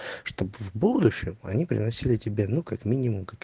чтоб в будущем они приносили тебе ну как минимум как